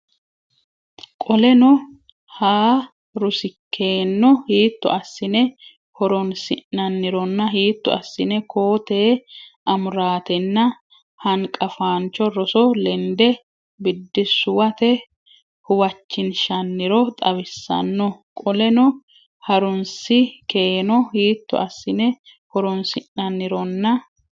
Qoleno ha rusi keeno hiitto assine horonsi nannironna hiitto assine koo tee amuraatenna hanqafaancho roso lende biddissuwate huwachinshanniro xawisanno Qoleno ha rusi keeno hiitto assine horonsi nannironna.